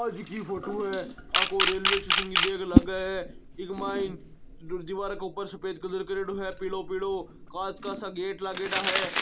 आ जी की फोटो है आ को रेलवे स्टेशन की देख लागे है इके मायन दिवार के ऊपर सफ़ेद कलर करयोडो है पीळो पीळो काँच का सा गेट लागेडा हैं।